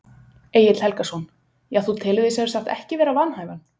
Egill Helgason: Já þú telur þig sem sagt ekki vera vanhæfan?